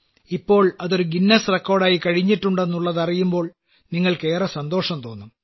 ഇപ്പോൾ അതൊരു Guinness record ആയിക്കഴിഞ്ഞിട്ടുണ്ടെന്നുള്ളതറിയുമ്പോൾ നിങ്ങൾക്കേറെ സന്തോഷം തോന്നും